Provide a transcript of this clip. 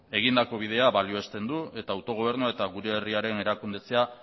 egindako bidea baliozten du eta autogobernua eta gure herriaren erakundetzea